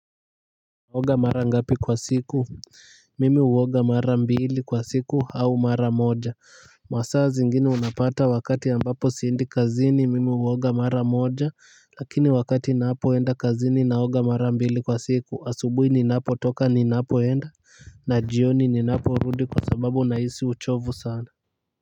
Naoga mara ngapi kwa siku? Mimi huoga mara mbili kwa siku au mara moja masaa zingine unapata wakati ambapo siendi kazini mimi huoga mara moja lakini wakati ninapoenda kazini naoga mara mbili kwa siku, asubuhi ninapotoka ninapoenda na jioni ninaporudi kwa sababu nahisi uchovu sana.